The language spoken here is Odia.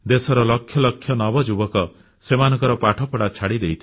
ଦେଶର ଲକ୍ଷ ଲକ୍ଷ ନବଯୁବକ ସେମାନଙ୍କର ପାଠପଢ଼ା ଛାଡ଼ିଦେଇଥିଲେ